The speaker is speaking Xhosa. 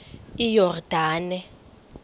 iyordane